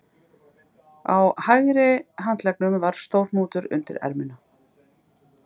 Á hægri handleggnum var stór hnútur undir erminni